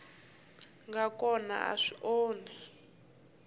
nga kona a swi onhi